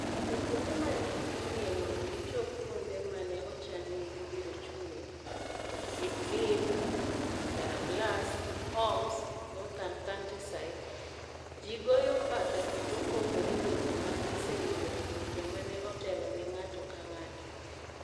E kuonde ma ji chung'ie mondo gichop kuonde ma ne ochan ni gibiro chung'ie (Idlib, Jarablus, Homs northern countryside), ji goyo mbaka kendo pogore weche ma giseyudo kuom joma ne otelo ne ng'ato ka ng'ato.